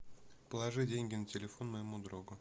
положи деньги на телефон моему другу